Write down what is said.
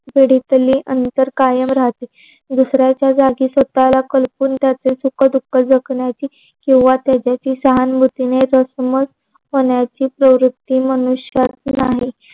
पिढीतली अंतर कायम राहते. दुसऱ्याच्या जाती कपाळ कडपून जाती. त्याची सुख दुख जखमेची कीव्हा त्याच्याशी सहानुभूतीने जर समज होण्याची प्रवृतत्ती मनुष्यात नाही.